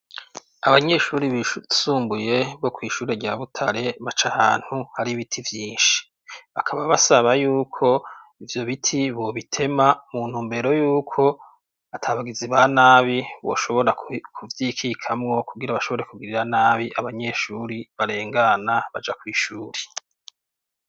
Abanyeshuri bisumbuye bo kw'ishuri rya butare baca ahantu hari ibiti vyinshi bakaba basaba yuko ivyo biti bobitema muntu mbero yuko ata bagizi ba nabi boshobora kuvyikikamwo kugira abashobore kugirira nabi abanyeshuri barengana baja kw'ishura.